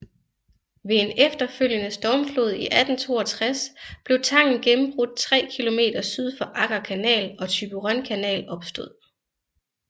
Ved en efterfølgende stormflod i 1862 blev tangen gennembrudt 3 km syd for Agger Kanal og Thyborøn Kanal opstod